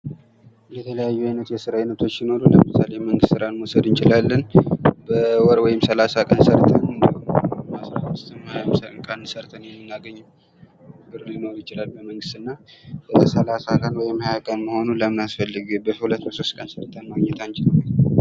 የተለያዩ አይነት የስራ አይነቶች ሲኖሩ ምሳሌ የመንግስት ስራን መውሰድ እንችላለን ። በወር ወይም ሰላሳ ቀን ሰርተን እንዲሁም አስራ አምስት ፣ ሀያም ቀን ሰርተን የምናገኘው ብር ሊኖር ይችላል ። መንግስት እና ሠላሳ ቀን ወይም ሀያ ቀን መሆኑ ለምን አስፈለገ ? በሁለት ፣ በሦስት ቀን ሰርተን ማግኘት አንችልም ?